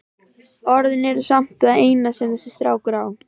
Orðin eru samt það eina sem þessi strákur á.